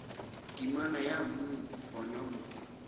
temana ya mm gona mo